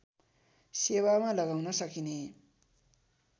सेवामा लगाउन सकिने